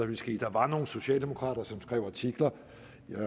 ville ske der var nogle socialdemokrater som skrev artikler